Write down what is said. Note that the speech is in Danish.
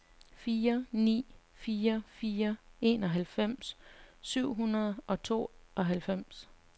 fire ni fire fire enoghalvfems syv hundrede og tooghalvfems